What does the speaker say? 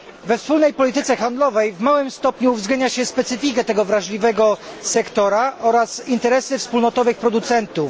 We wspólnej polityce handlowej w małym stopniu uwzględnia się specyfikę tego wrażliwego sektora oraz interesy wspólnotowych producentów.